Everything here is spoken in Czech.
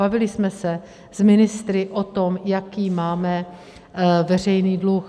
Bavili jsme se s ministry o tom, jaký máme veřejný dluh.